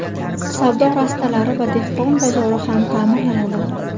Savdo rastalari va dehqon bozori ham ta’mirlanadi.